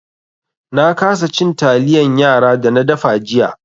Na kasa cin taliyan yara da na dafa jiya.